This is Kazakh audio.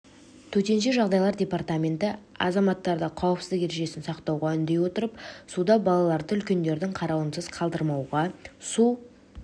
төтенше жағдайлар департаменті азаматтарды қауіпсіздік ережесін сақтауға үндей отырып суда балаларды үлкендердің қарауынсыз қалдырмауға су